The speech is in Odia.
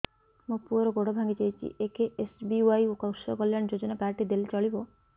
ମୋ ପୁଅର ଗୋଡ଼ ଭାଙ୍ଗି ଯାଇଛି ଏ କେ.ଏସ୍.ବି.ୱାଇ କୃଷକ କଲ୍ୟାଣ ଯୋଜନା କାର୍ଡ ଟି ଦେଲେ ଚଳିବ